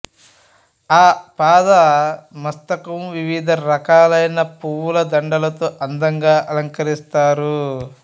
ఆపాద మస్తకం వివిధ రకాలైన పువ్వుల దండలతో అందంగా అలంకరిస్తారు